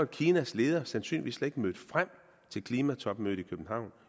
kinas leder sandsynligvis slet mødt frem til klimatopmødet